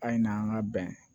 A ye n'an ka bɛn